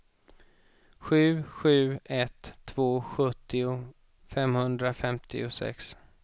sju sju ett två sjuttio femhundrafemtiosex